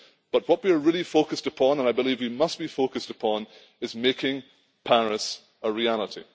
But what we are really focused upon, and I believe we must be focused upon, is making Paris a reality.